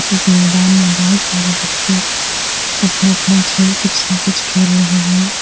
इस मैदान में बहोत सारे बच्चे अपना अपना खेल कुछ न कुछ खेल रहे है।